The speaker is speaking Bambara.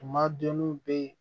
Tumaduw bɛ